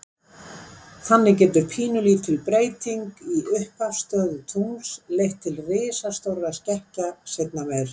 Þannig getur pínulítil breyting í upphafsstöðu tungls leitt til risastórra skekkja seinna meir.